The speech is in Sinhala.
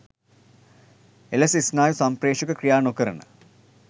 එලෙස ස්නායු සම්ප්‍රේෂක ක්‍රියා නොකරන